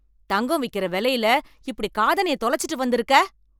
தங்க விக்கிற வெலையில இப்டி காதணிய தொலைச்சிட்டு வந்து இருக்க